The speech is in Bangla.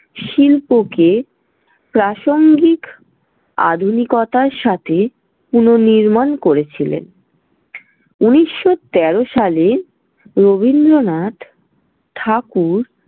শিল্পকে প্রাসঙ্গিক আধুনিকতার সাথে পুনঃনির্মাণ করেছিলেন। ঊনিশশো তেরো সালে রবীন্দ্রনাথ ঠাকুর।